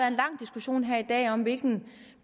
en lang diskussion her i dag om hvilke